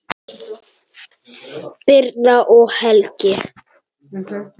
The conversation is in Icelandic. Birna og Helgi.